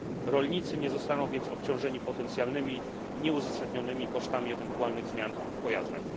Rolnicy nie zostaną więc obciążeni potencjalnymi nieuzasadnionymi kosztami ewentualnych zmian w pojazdach.